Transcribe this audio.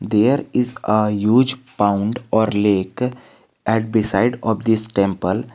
There is a huge found or lake at beside of this temple.